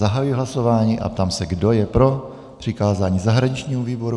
Zahajuji hlasování a ptám se, kdo je pro přikázání zahraničnímu výboru?